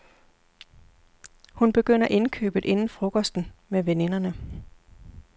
Hun begynder indkøbet inden frokosten med veninderne.